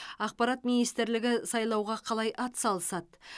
ақпарат министрлігі сайлауға қалай ат салысады